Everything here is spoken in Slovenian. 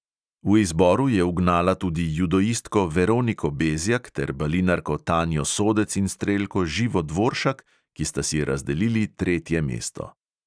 V izboru je ugnala tudi judoistko veroniko bezjak ter balinarko tanjo sodec in strelko živo dvoršak, ki sta si razdelili tretje mesto.